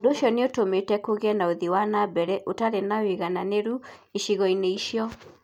Ũndũ ũcio nĩ ũtũmĩte kũgĩe na ũthii wa na mbere ũtarĩ na ũigananĩru icigo-inĩ icio.